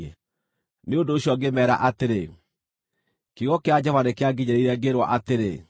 Nĩ ũndũ ũcio ngĩmeera atĩrĩ, “Kiugo kĩa Jehova nĩkĩanginyĩrĩire, ngĩĩrwo atĩrĩ: